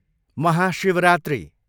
Mahashivratri